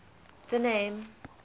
the name